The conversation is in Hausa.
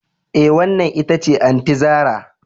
Eh, wannan ita ce Aunty zarah